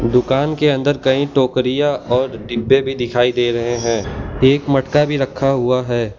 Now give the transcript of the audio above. दुकान के अंदर कहीं टोकरिया और डिब्बे भी दिखाई दे रहे हैं एक मटका भी रखा हुआ है।